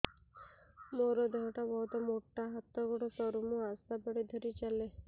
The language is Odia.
ମୋର ଦେହ ଟା ବହୁତ ମୋଟା ହାତ ଗୋଡ଼ ସରୁ ମୁ ଆଶା ବାଡ଼ି ଧରି ଚାଲେ